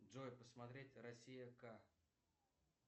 джой посмотреть россия к